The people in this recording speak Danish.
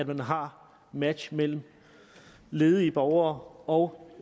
man har match mellem ledige borgere og